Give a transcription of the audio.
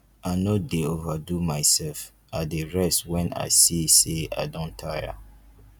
i no dey overdo mysef i dey rest wen i see sey i don tire